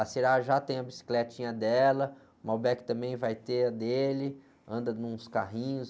A já tem a bicicletinha dela, o também vai ter a dele, anda nuns carrinhos.